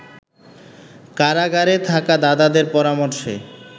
কারাগারে থাকা দাদাদের পরামর্শে